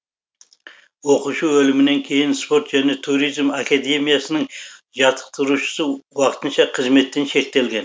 оқушы өлімінен кейін спорт және туризм академиясының жаттықтырушысы уақытынша қызметтен шеттетілген